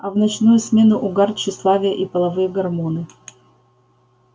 а в ночную смену угар тщеславие и половые гормоны